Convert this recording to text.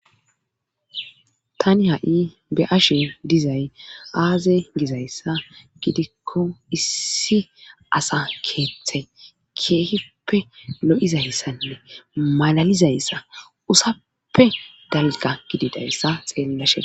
tani ha7i be ashe dizay aaze gizayssa gidikko issi asa keeththay keehippe lo7izayssanne malalizayssa usappe dalga gididayssa xeellashe